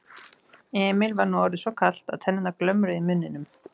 Emil var nú orðið svo kalt að tennurnar glömruðu í muninum.